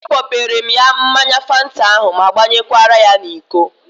A kpọpere m ya mmanya Fanta ahụ ma gbanyekwara ya n'iko